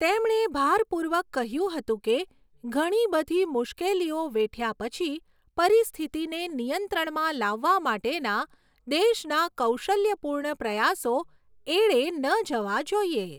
તેમણે ભારપૂર્વક કહ્યું હતું કે, ઘણી બધી મુશ્કેલીઓ વેઠ્યા પછી, પરિસ્થિતિને નિયંત્રણમાં લાવવા માટેના દેશના કૌશલ્યપૂર્ણ પ્રયાસો એળે ન જવા જોઈએ.